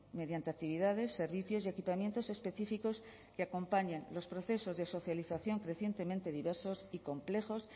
mediante actividades servicios y equipamientos específicos que acompañan los procesos de socialización crecientemente diversos y complejos